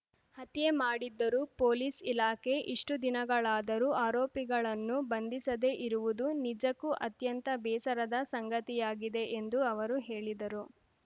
ಹತ್ಯೆ ಮಾಡಿದ್ದರೂ ಪೊಲೀಸ್‌ ಇಲಾಖೆ ಇಷ್ಟುದಿನಗಳಾದರೂ ಆರೋಪಿಗಳನ್ನು ಬಂಧಿಸದೇ ಇರುವುದು ನಿಜಕ್ಕೂ ಅತ್ಯಂತ ಬೇಸರದ ಸಂಗತಿಯಾಗಿದೆ ಎಂದು ಅವರು ಹೇಳಿದರು